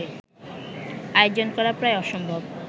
আয়োজন করা প্রায় অসম্ভব